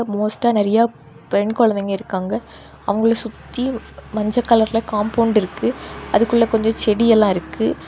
மோஸ்டா நெறைய பெண் கொழந்தைங்க இருக்காங்க அவங்கள சுத்தி மஞ்ச கலர்ல காம்பவுண்ட் இருக்கு அதுக்குள்ள கொஞ்சோ செடி எல்லா இருக்கு.